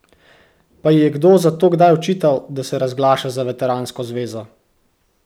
Pa ji je kdo zato kdaj očital, da se razglaša za veteransko zvezo?